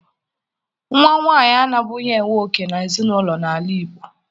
Nwa nwaanyị anabughi enwe òkè n'ezinụlọ n'ala Igbo